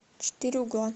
четыре угла